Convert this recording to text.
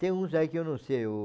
Tem uns aí que eu não sei. O...